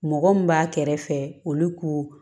Mɔgɔ mun b'a kɛrɛfɛ olu ko